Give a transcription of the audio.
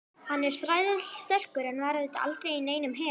Hann er þrælsterkur en var auðvitað aldrei í neinum her.